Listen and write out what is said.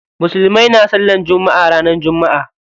Musulmai na sallar jumma'a ranar jumma'a.